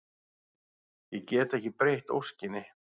Ég get ekki breytt óskinni.